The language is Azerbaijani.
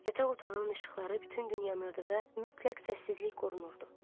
Yataq otağının işıqları bütün gün yanırdı və mütləq səssizlik qorunurdu.